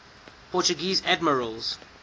portuguese admirals